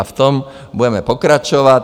A v tom budeme pokračovat.